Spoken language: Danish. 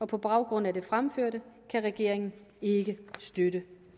på baggrund af det fremførte kan regeringen ikke støtte